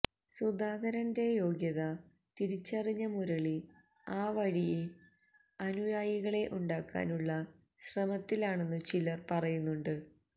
സുധാകരന്റെ യോഗ്യത തിരിച്ചറിഞ്ഞ മുരളി ആ വഴിയെ അനുയായികളെ ഉണ്ടാക്കാനുള്ള ശ്രമത്തിലാണെന്നു ചിലര് പറയുന്നുണ്ട്